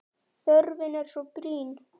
Þörfin er svo brýn.